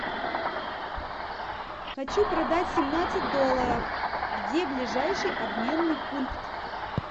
хочу продать семнадцать долларов где ближайший обменный пункт